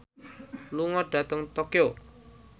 lunga dhateng Tokyo